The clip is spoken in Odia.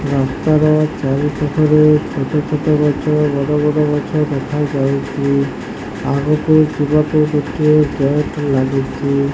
କାନ୍ତର ଚାରି ପାଖରେ ଛୋଟ ଛୋଟ ଗଛ ବଡ ବଡ ଗଛ ଦେଖା ଯାଉଛି ଆଗକୁ ଯିବା କୁ ଗୋଟିଏ ଗେଟ୍ ଲାଗିଛି।